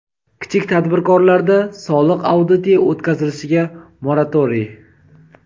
kichik tadbirkorlarda soliq auditi o‘tkazilishiga moratoriy.